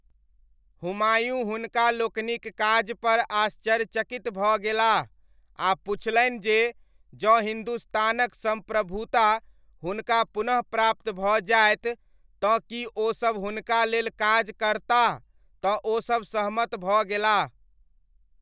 हुमायूँ हुनका लोकनिक काजपर आश्चर्यचकित भऽ गेलाह आ पुछलनि जे जँ हिन्दुस्तानक सम्प्रभुता हुनका पुनः प्राप्त भऽ जायत तँ कि ओसब हुनका लेल काज करताह तँ ओसब सहमत भऽ गेलाह।